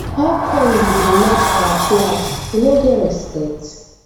how come you dey match our flag? you no get respect